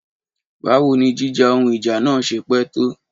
Báwo ni jíjà ohun ìjà náà ṣe pẹ́ tó?